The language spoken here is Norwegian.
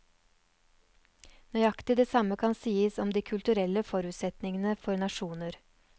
Nøyaktig det samme kan sies om de kulturelle forutsetningene for nasjoner.